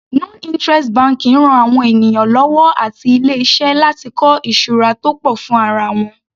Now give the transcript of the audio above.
Non interest banking ran àwọn ènìyàn lọ́wọ́ àti ilé iṣẹ́ láti kọ́ ìṣura tó pọ̀ fún ara wọn.